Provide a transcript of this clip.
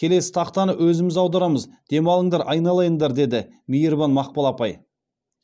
келесі тақтаны өзіміз аударамыз демалыңдар айналайындар деді мейірбан мақпал апай